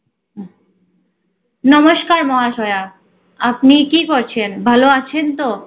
নমস্কার মহাশয়া, আপনি কী করছেন? ভালো আছেন তো?